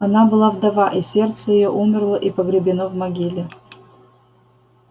она была вдова и сердце её умерло и погребено в могиле